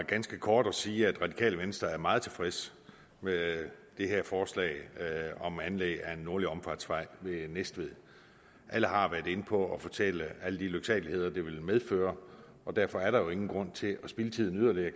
ganske kort og sige at radikale venstre er meget tilfredse med det her forslag om anlæg af en nordlig omfartsvej ved næstved alle har været inde på at fortælle om alle de lyksaligheder det vil medføre og derfor er der jo ingen grund til at spilde tiden yderligere